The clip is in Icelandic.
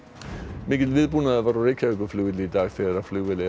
mikill viðbúnaður var á Reykjavíkurflugvelli í dag þegar flugvél